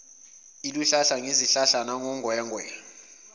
liluhlaza ngezihlahla nangongwengwe